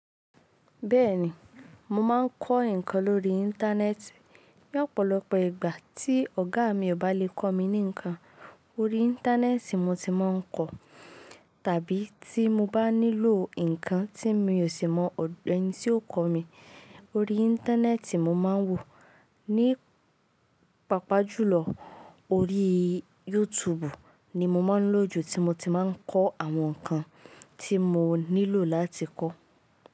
Bẹ́ẹ̀ni, mo máa ń kọ́ ǹkan lórí Íńtánẹ́ẹ̀tì. Ní ọ̀pọ̀lọpọ̀ ìgbà tí ọ̀gá mi ò bá lè kọ́ mi ní ǹkan, orí Íńtánẹ́ẹ̀tì mo ti máa ń kọ. Tàbí tí mo bá nílò ǹkan tí mi ò sì mọ ọ̀dọ̀ ẹni tí yóò kọ́ mi, orí Íńtánẹ́ẹ̀tì mo máa ń wò. Ní pàápàá jùlọ orí YouTube ni mo máa ń lò ju tí mo ti máa ń kọ àwọn ǹkan tí mo nílò láti kọ́